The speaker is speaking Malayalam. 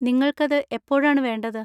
നിങ്ങൾക്കത് എപ്പോഴാണ് വേണ്ടത്?